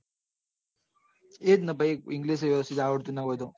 એ જ ને ભાઈ english જ નાં આવડતું હોય તો